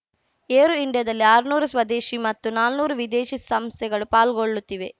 aero ಇಂಡಿಯಾದಲ್ಲಿ ಆರ್ನೂರು ಸ್ವದೇಶಿ ಮತ್ತು ನಾನೂರು ವಿದೇಶಿ ಸಂಸ್ಥೆಗಳು ಪಾಲ್ಗೊಳ್ಳುತ್ತಿವೆ